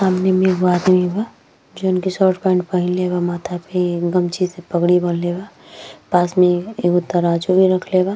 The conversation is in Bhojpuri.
सामने में एगो आदमी बा जौन कि शर्ट पैन्ट पहिनले बा। माथा पे गमछी से पगड़ी बंधले बा। पास में एगो तराजू भी रखले बा।